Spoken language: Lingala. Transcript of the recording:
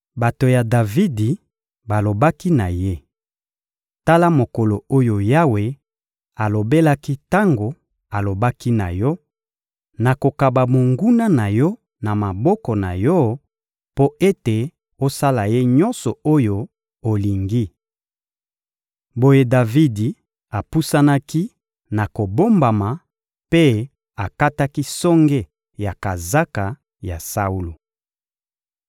Bato ya Davidi balobaki na ye: Tala mokolo oyo Yawe alobelaki tango alobaki na yo: «Nakokaba monguna na yo na maboko na yo mpo ete osala ye nyonso oyo olingi.» Boye Davidi apusanaki na kobombama mpe akataki songe ya kazaka ya Saulo.